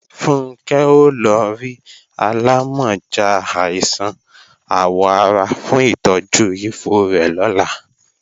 Funkẹ́ ó lọ rí alámọ̀já àìsàn àwọ̀ ara fún ìtọ́jú ifo rẹ̀ lọ́la